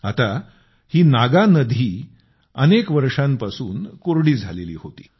आता ही नागानधी अनेक वर्षांपासून कोरडी झालेली होती